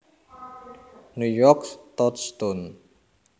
New York Touchstone